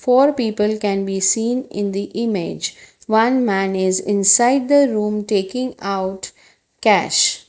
four people can be seen in the image one man is inside the room taking out cash.